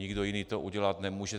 Nikdo jiný to udělat nemůže.